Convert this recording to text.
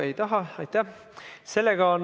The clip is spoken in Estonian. Ei taha.